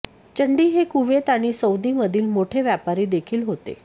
चंडी हे कुवेत आणि सौदी मधील मोठे व्यापारी देखील होते